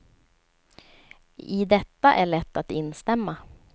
I detta är lätt att instämma.